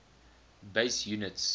base units